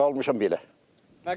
Qalmışam belə.